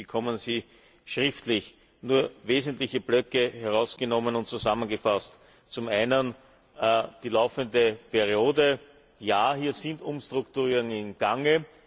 Sie bekommen sie schriftlich. Nur wesentliche Blöcke herausgenommen und zusammengefasst Zum einen die laufende Periode Ja, hier sind Umstrukturierungen im Gange.